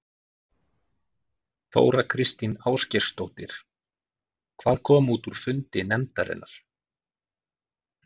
Þóra Kristín Ásgeirsdóttir: Hvað kom út úr fundi nefndarinnar?